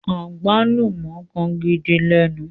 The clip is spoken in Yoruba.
agbalumọ kán gìdí lénu.